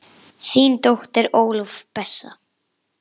Þín dóttir Ólöf Bessa.